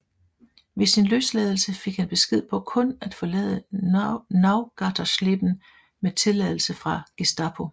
Ved sin løsladelse fik han besked på kun at forlade Neugattersleben med tilladelse fra Gestapo